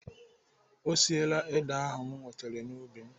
Ọ siela ede ahụ m wetere n'ubi m.